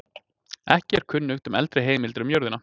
Ekki er kunnugt um eldri heimildir um jörðina.